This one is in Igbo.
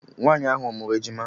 Nwaanyị ahụ ọ mụụrụ ejima?